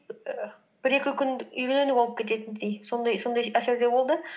і бір екі күн үйрену болып кететіндей сондай әсерде болды